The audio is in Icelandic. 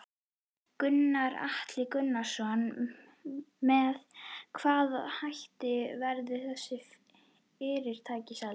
Gunnar Atli Gunnarsson: Með hvaða hætti verða þessi fyrirtæki seld?